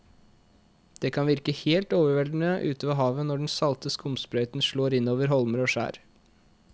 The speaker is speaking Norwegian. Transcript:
Det kan virke helt overveldende ute ved havet når den salte skumsprøyten slår innover holmer og skjær.